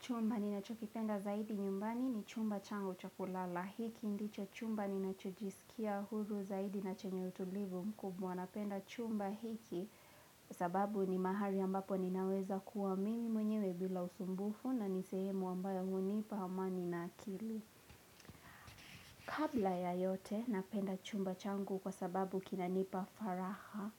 Chumba nina cho kipenda zaidi nyumbani ni chumba changu chakulala. Hiki ndicho chumba nina cho jisikia huru zaidi na chenye utulivu mkubwa. Napenda chumba hiki sababu ni mahali ambapo ninaweza kuwa mimi mwenyewe bila usumbufu na nisehemu ambayo hunipa amani na akili. Kabla ya yote napenda chumba changu kwa sababu kina nipa faraha.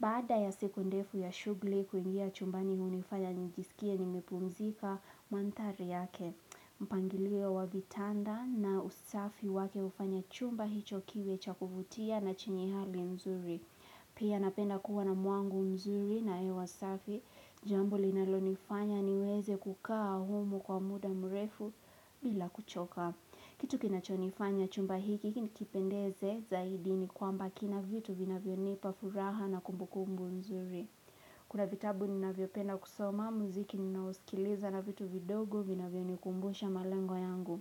Baada ya siku ndefu ya shughli kuingia chumba ni hunifanya nijiskie nimepumzika mandhari yake. Mpangilio wa vitanda na usafi wake hufanya chumba hicho kiwe cha kuvutia na chenye hali nzuri. Pia napenda kuwa na muangu mzuri na hewa safi. Jambo linalonifanya niweze kukaa humu kwa muda mrefu bila kuchoka. Kitu kinachonifanya chumba hiki nikipendeze zaidi ni kwamba kina vitu vinavyonipa furaha na kumbukumbu mzuri. Kuna vitabu ninavyopenda kusoma, muziki ninaoskiliza na vitu vidogo, vinavyonikumbusha malengo yangu.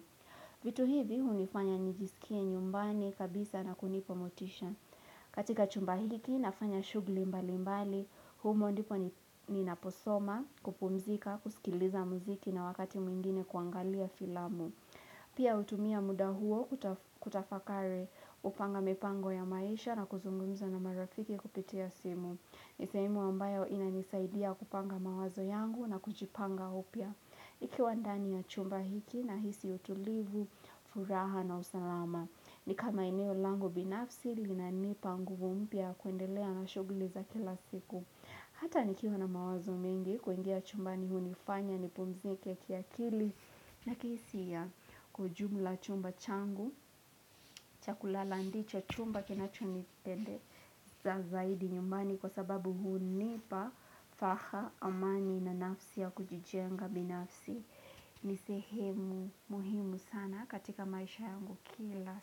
Vitu hivi hunifanya nijiskie nyumbani kabisa na kunipa motisha. Katika chumba hiki, nafanya shughli mbali mbali, humo ndipo nina posoma, kupumzika, kuskiliza muziki na wakati mwingine kuangalia filamu. Pia utumia mudahuo kuta kutafakari kupanga mipango ya maisha na kuzungumza na marafiki kupitia simu. Nisehemu ambayo ina nisaidia kupanga mawazo yangu na kujipanga upya Nikiwandani ya chumba hiki nahisi utulivu, furaha na usalama. Ni kama eneo langu binafsi, lina nipangu umpia kuendelea na shughuli za kila siku. Hata nikiwana mawazo mengi, kuingia chumba ni hunifanya, nipumzike kiakili na kihisia ya kujumla chumba changu. Chakulala ndicho chumba kina chonipendeza za zaidi nyumbani Kwa sababu huu nipa faha amani na nafsi ya kujijenga binafsi ni sehemu muhimu sana katika maisha yangu kila.